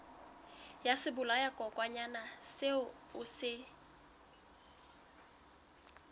ya sebolayakokwanyana seo o se